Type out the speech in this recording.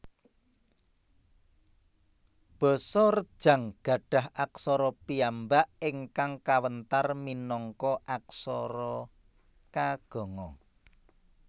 Basa Rejang gadhah aksara piyambak ingkang kawentar minangka aksara Kaganga